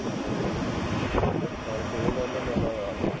ਸਾਰੇ ਖੇਲ ਲੈਂਦੇ ਨੈਣਾ ਨਾਲ